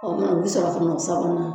Ɔ u sɔrɔ ka na u sabanan